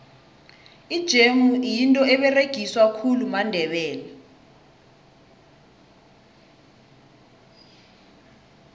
ijemu yinto eberegiswa khulu mandebele